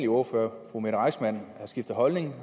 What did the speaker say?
ordfører fru mette reissmann har skiftet holdning